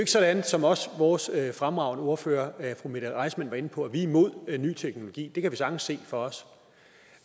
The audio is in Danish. sådan som også vores fremragende ordfører fru mette reissmann var inde på at vi er imod ny teknologi det kan vi sagtens se for os